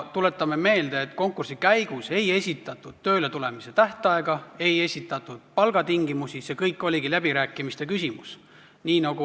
Tuletame meelde, et konkursi käigus ei esitatud tööletuleku tähtaega, ei esitatud palgatingimusi, see kõik oligi läbirääkimiste küsimus.